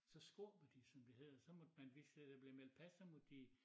Så skubbede de som det hedder så måtte man hvis øh der blev meldt pas så måtte de